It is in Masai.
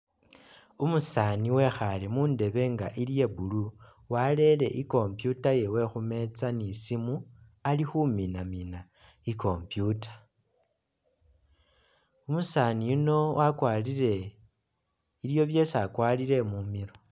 Umusaani wekhale mundebe nga ili iya blue walele i'computer yewe khumeza ni simu ali khuminamina i'computer, umusaani yuno wakwalire iliwo byesi akwalire mumilo